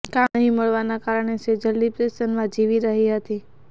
કામ નહીં મળવાના કારણે સેજલ ડિપ્રેશનમાં જીવી રહી હતી